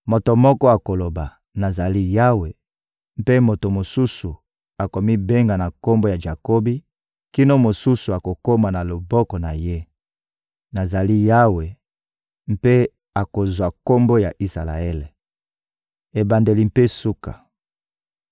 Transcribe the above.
Moto moko akoloba: ‹Nazali ya Yawe,› mpe moto mosusu akomibenga na kombo ya Jakobi, kino mosusu akokoma na loboko na ye: ‹Nazali ya Yawe,› mpe akozwa kombo ya Isalaele. Ebandeli mpe suka